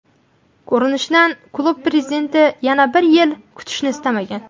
Ko‘rinishidan klub prezidenti yana bir yil kutishni istamagan.